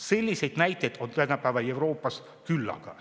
Selliseid näiteid on tänapäeva Euroopas küllaga.